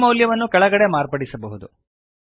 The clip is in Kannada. ಈ ಮೌಲ್ಯವನ್ನು ಕೆಳಗಡೆ ಮಾರ್ಪಡಿಸಬಹುದು